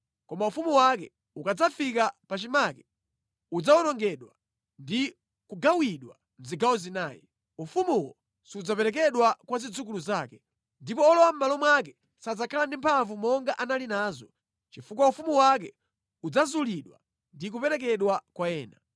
Koma ufumu wake ukadzafika pachimake, udzawonongedwa ndi kugawidwa mʼzigawo zinayi. Ufumuwo sudzaperekedwa kwa zidzukulu zake, ndipo olowa mʼmalo mwake sadzakhala ndi mphamvu monga anali nazo, chifukwa ufumu wake udzazulidwa ndi kuperekedwa kwa ena.